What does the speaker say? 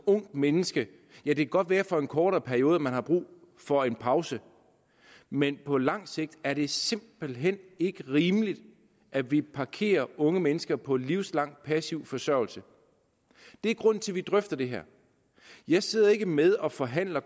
ungt menneske det kan godt være at man for en kortere periode har brug for en pause men på lang sigt er det simpelt hen ikke rimeligt at vi parkerer unge mennesker på livslang passiv forsørgelse det er grunden til at vi drøfter det her jeg sidder ikke med og forhandler